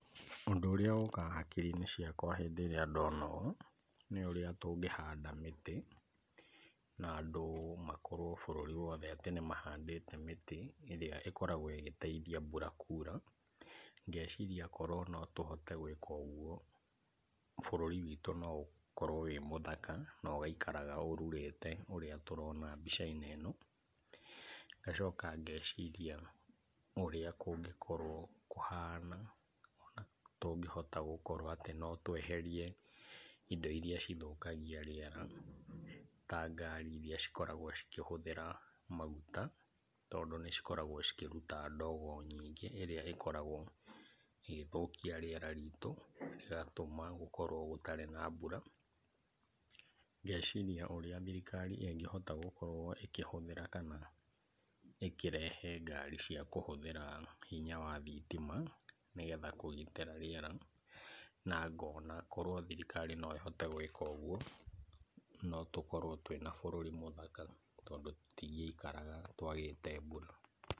Ũndũ ũrĩa ũkaga hakiri-inĩ ciakwa rĩrĩa ndona ũũ nĩ ũrĩa tũngĩhanda mĩtĩ na andũ makorwo bũrũri wothe atĩ nĩ mahandĩte mĩtĩ ĩrĩa ĩkoragwo ĩgĩteithia mbura kuura. Ngeciria korwo no tũhote gwĩka ũguo bũrũri witũ no ũkorwo wĩ mũthaka na ũgaikaraga ũrurĩte ũrĩa tũrona mbica-inĩ ĩno. Ngeciria ũrĩa kũngĩkorwo kũhana tũngĩhota gũkorwo atĩ no tweherie indo irĩa cithũkagia rĩera ta ngari irĩa cikoragwo cikĩhũthĩra maguta, tondũ nĩ cikoragwo cikĩruta ndogo nyingĩ ĩrĩa ĩkoragwo ĩgĩthũkia rĩera ritũ, ĩgatũma gũkorwo gũtarĩ na mbura. Ngeciria ũrĩa thirikari ĩngĩhota ĩkĩhota gũkorwo ĩkĩhũthĩra kana ĩkĩrehe ngari cia kũhũthĩra hinya wa thitima nĩgetha kũgitĩra rĩera. Na ngona korwo thirikari no ĩhote gwĩka ũguo no tũkorwo twĩna bũrũri mũthaka tondũ tũtingĩkorwo twagĩte mbura.